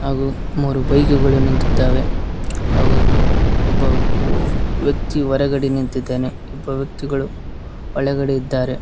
ಹಾಗು ಮೂರು ಬೈಕುಗಳು ನಿಂತಿದ್ದಾವೆ ಹಾಗು ಒಬ್ಬ ವ್ಯಕ್ತಿಯು ಹೊರಗಡೆ ನಿಂತಿದ್ದಾನೆ ಒಬ್ಬ ವ್ಯಕ್ತಿಗಳು ಒಳಗಡೆ ಇದ್ದಾನೆ.